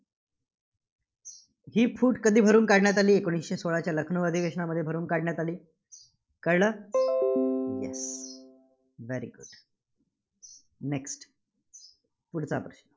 जी फूट कधी भरून काढण्यात आली? एकोणीसशे सोळाच्या लखनऊ अधिवशेनामध्ये भरून काढण्यात आली. कळंल? yes, very good next पुढचा प्रश्न